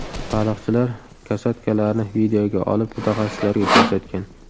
Baliqchilar kosatkalarni videoga olib, mutaxassislarga ko‘rsatgan.